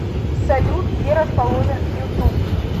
салют где расположен ютуб